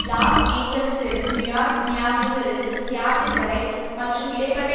loss ஏஞ்சல்ஸில் இருந்து New York மியாமியில் இருந்து சியாட்டில் வரை மற்றும் இடை பட்ட